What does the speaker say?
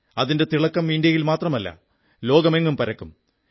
അതിന്റെ തിളക്കം ഇന്ത്യയിൽ മാത്രമല്ല ലോകമെങ്ങും പരക്കും